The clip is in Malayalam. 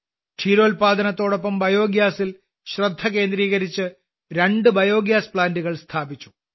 ക്ഷീരോല്പാദനത്തോടൊപ്പം ബയോഗ്യാസിൽ ശ്രദ്ധ കേന്ദ്രീകരിച്ചുകൊണ്ട് രണ്ടു ബയോഗ്യാസ് പ്ലാന്റുകൾ സ്ഥാപിച്ചു